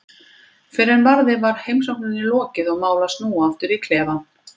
Fyrr en varði var heimsókninni lokið og mál að snúa aftur í klefann.